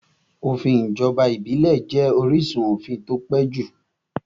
Òfin ìjọba ìbílẹ̀ jẹ́ orísun òfin tí ó pẹ́ jù